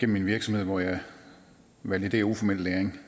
min virksomhed hvor jeg validerer uformel læring